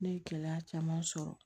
Ne ye gɛlɛya caman sɔrɔ